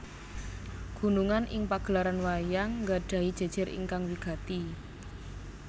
Gunungan ing pagelaran wayang nggadhahi jejer ingkang wigati